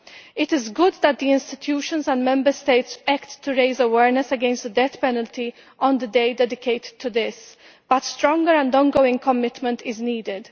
It is good that the European institutions and Member States are acting to raise awareness against the death penalty on the day dedicated to this, but stronger and ongoing commitment is needed.